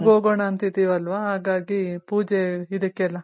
ಉರಾಗ್ ಹೋಗೋಣ ಅಂತ ಇದಿವಿ ಅಲ್ಲ ಹಗಾಗಿ ಪೂಜೆ ಇದ್ದಕ್ ಎಲ್ಲಾ .